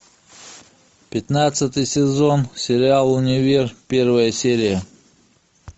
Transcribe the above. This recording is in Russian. пятнадцатый сезон сериал универ первая серия